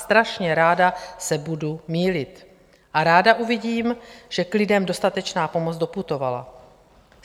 Strašně ráda se budu mýlit a ráda uvidím, že k lidem dostatečná pomoc doputovala.